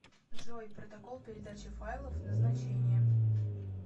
джой протокол передачи файлов назначение